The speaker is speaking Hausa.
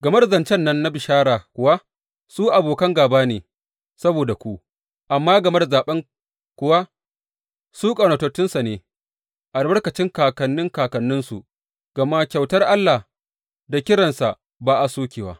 Game da zancen nan na bishara kuwa, su abokan gāba ne saboda ku; amma game da zaɓen kuwa, su ƙaunatattunsa ne, albarkacin kakannin kakanninsu, gama kyautar Allah da kiransa ba a sokewa.